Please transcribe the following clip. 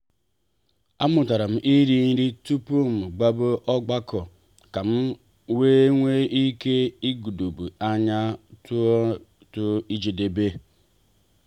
a mụtara m ịrị nri tupu m gbaba ọgbakọ kam wee nwee ike igbodo anya ruo na njedebe.